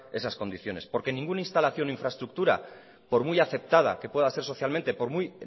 esas condiciones porque ninguna instalación o infraestructura por muy aceptada que pueda ser socialmente por muy